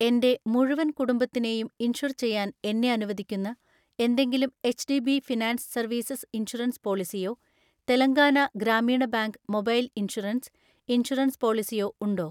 എൻ്റെ മുഴുവൻ കുടുംബത്തിനെയും ഇൻഷുർ ചെയ്യാൻ എന്നെ അനുവദിക്കുന്ന എന്തെങ്കിലും എച്ച്.ഡി.ബി ഫിനാൻസ് സർവീസസ് ഇൻഷുറൻസ് പോളിസിയോ Telangana Grameena bank mobile insurance, insurance പോളിസിയോ ഉണ്ടോ?